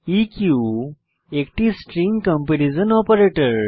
ইক একটি string comparison operator